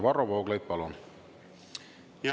Varro Vooglaid, palun!